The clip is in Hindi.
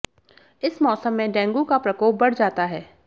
इस मोसम में डेंगू का प्रकोप बढ़ जाता है